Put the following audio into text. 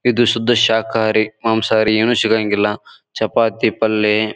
ಇದು ಶುದ್ಧ ಶಾಕಾರಿ ಮಾಂಸ ಹಾರಿ ಏನು ಶಿಗಾಂಗಿಲ್ಲ ಚಪಾತಿ ಪಲ್ಲೆ --